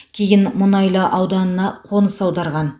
кейін мұнайлы ауданына қоныс аударған